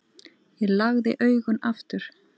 Ég lagði augun aftur.